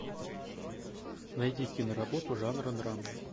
найди киноработу жанра драма